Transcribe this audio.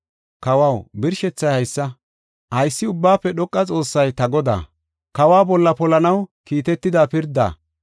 “Kawaw, birshethay haysa: haysi Ubbaafe Dhoqa Xoossay ta godaa, kawa bolla polanaw kiitida pirda.